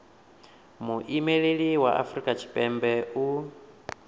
muimeli wa afrika tshipembe u